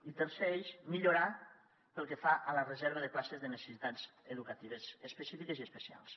i tercer eix millorar pel que fa a la reserva de places de necessitats educatives específiques i especials